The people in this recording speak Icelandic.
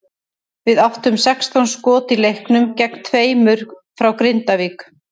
Við áttum sextán skot í leiknum gegn tveimur frá Grindavík.